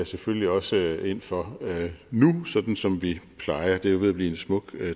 selvfølgelig også ind for nu sådan som vi plejer det er jo ved at blive en smuk